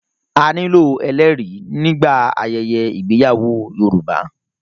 A nílò ẹlẹ́rìí nígbà ayẹyẹ ìgbéyàwó Yorùbá.